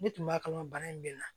Ne tun b'a kalama bana in bɛ n na